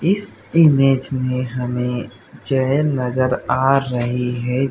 इस इमेज में हमे चैर नजर आ रहि है।